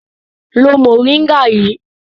Lo mòríngà yìí!